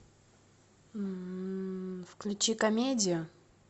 включи комедию